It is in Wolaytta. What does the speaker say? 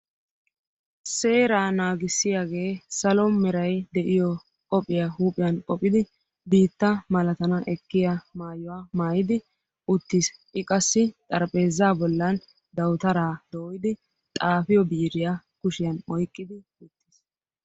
seeraa naagissiyaagee salo meray de'iyo qophiyaa huuphiyan qophidi biitta malatana ekkiya maayuwaa maayidi uttiis. i qassi xaraphphezza bollan dawutaara doyyidi xaafiyo biiriya kushiyan oyqqidi uttiis.